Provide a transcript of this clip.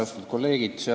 Austatud kolleegid!